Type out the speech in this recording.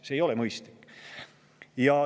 See ei ole mõistlik.